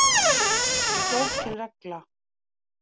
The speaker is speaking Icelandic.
Þetta er ekki flókin regla